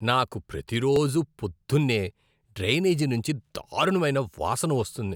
నాకు ప్రతిరోజూ పొద్దున్నే డ్రైనేజీ నుంచి దారుణమైన వాసన వస్తుంది.